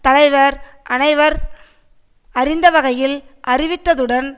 தலைவர் அனைவரும் அறிந்த வகையில் அறிவித்ததுடன்